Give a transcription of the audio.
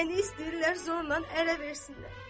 Məni istəyirlər zorla ərə versinlər.